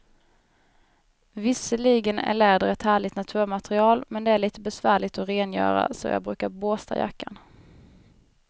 Visserligen är läder ett härligt naturmaterial, men det är lite besvärligt att rengöra, så jag brukar borsta jackan.